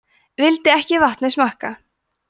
vildi ekki vatnið smakka